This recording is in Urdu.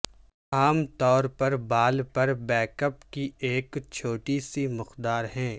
عام طور پر بال پر بیک اپ کی ایک چھوٹی سی مقدار ہے